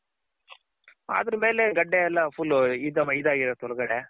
other ಮೇಲೆ ಗಡ್ಡೆ ಎಲ್ಲ full ಇದಾಗಿರುತ್ ಒಳ್ಗಡೆ